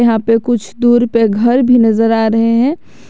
यहां पे कुछ दूर पे घर भी नजर आ रहे हैं।